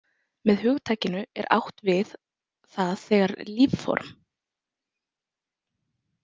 Með hugtakinu er átt við það þegar lífform.